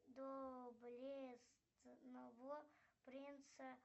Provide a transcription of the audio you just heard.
доблестного принца